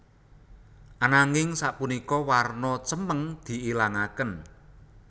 Ananging sapunika warna cemeng diilangaken